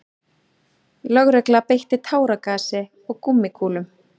Lögregla beitti táragasi og gúmmíkúlum